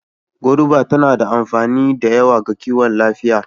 Goruba tana da amfani da yawa ga kiwon lafiya